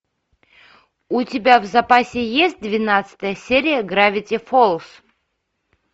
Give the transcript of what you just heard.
у тебя в запасе есть двенадцатая серия гравити фолз